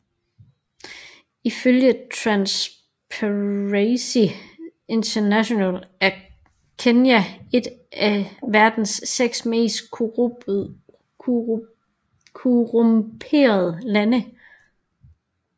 Ifølge Transparency International er Kenya et af verdens seks mest korrumperede lande